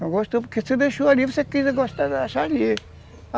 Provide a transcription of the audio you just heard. Não gostou porque você deixou ali, você achar ali.